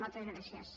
moltes gràcies